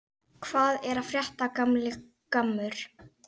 Hvað er að frétta, gamli gammur?